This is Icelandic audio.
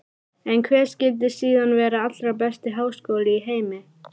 En hver skyldi síðan vera allra besti háskóli í heimi?